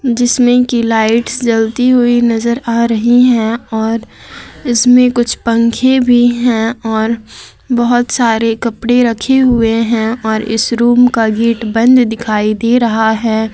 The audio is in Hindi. जिसमें की लाइट्स जलती हुई नजर आ रही हैं और इसमें कुछ पंखे भी हैं और बहुत सारे कपड़े रखे हुए हैं और इस रूम का गेट बंद दिखाई दे रहा है।